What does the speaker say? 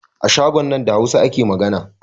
A shagon nan da Hausa ake magana